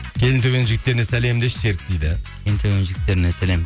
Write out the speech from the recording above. келінтөбенің жігіттеріне сәлем деші серік дейді келінтөбенің жігіттеріне сәлем